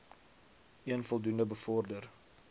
een voldoende bevorder